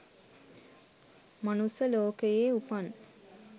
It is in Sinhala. මනුස්ස ලෝකයේ උපන්,